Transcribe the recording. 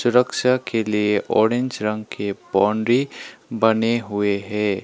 सुरक्षा के लिए ऑरेंज रंग की बाउंड्री बने हुए है।